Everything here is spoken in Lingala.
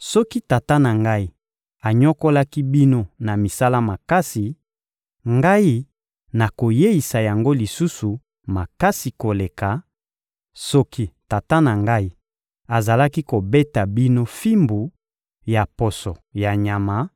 soki tata na ngai anyokolaki bino na misala makasi, ngai, nakoyeisa yango lisusu makasi koleka; soki tata na ngai azalaki kobeta bino fimbu ya poso ya nyama,